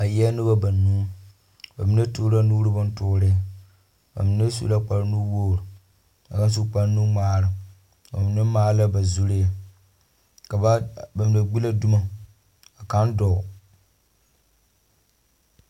Ba eԑԑ noba banuu. Ba mine toore la nuuri bontoore, ba mine su la kpare nuwogiri, ka kaŋa su kpare nuŋmaara. Ba mine maale la ba zuree, ka ba, ba mine la gbi la dumo ka kaŋa dͻͻŋ.